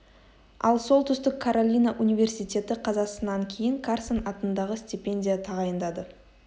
ал солтүстік каролина университеті қазасынан кейін карсон атындағы стипендия тағайындады